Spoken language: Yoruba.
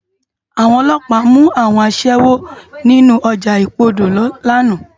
Awòn òlòpá mú áwòn aṣèwó ninú òjá ipódó làná